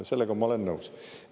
Sellega ma olen nõus.